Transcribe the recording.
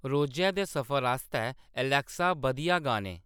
रोजै दे सफर आस्तै एलेक्सा बधिया गाने